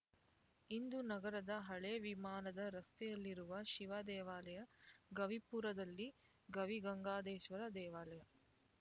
ಇಂದು ನಗರದ ಹಳೇ ವಿಮಾನದ ರಸ್ತೆಯಲ್ಲಿರುವ ಶಿವ ದೇವಾಲಯ ಗವಿಪುರದಲ್ಲಿ ಗವಿಗಂಗಾದೇಶ್ವರ ದೇವಾಲಯ